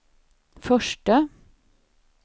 förste